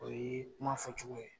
O ye kuma fɔcogo ye.